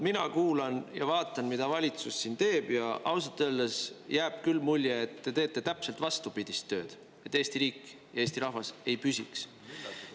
Mina kuulan ja vaatan, mida valitsus teeb, ja ausalt öeldes jääb küll mulje, et te teete täpselt vastupidist tööd, et Eesti riik, Eesti rahvas ei püsiks.